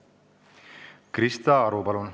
Krista Aru, palun!